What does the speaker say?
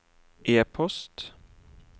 e-post